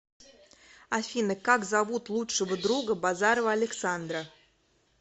афина как зовут лучшего друга базарова александра